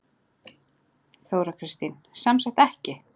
Þóra Kristín: Sem sagt ekki?